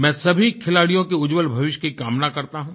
मैं सभी खिलाड़ियों के उज्जवल भविष्य की कामना करता हूँ